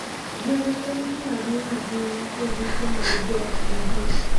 Gweno en gima duong' ahinya e yuto mar joot modhier.